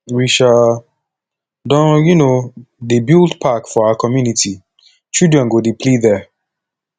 we um don um dey build park for our community children go dey play there